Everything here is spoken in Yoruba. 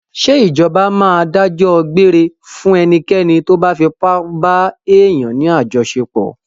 Ṣé Ìjọba máa dájọ́ gbére fún ẹnikẹ́ni tóbá fipá ba èèyàn ní àjọṣepọ̀.